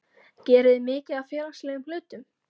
geriði mikið af félagslegum hlutum?